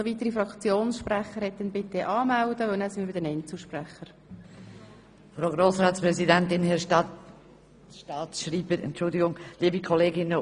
Falls es noch weitere Fraktionssprechende gibt, bitte ich diese, sich anzumelden, denn anschliessend kommen wir zu den Einzelsprechern.